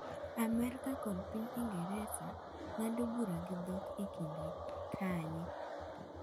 Amerka kod piny Ingresa ng’ado bura gi dhok e kindgi - kanye?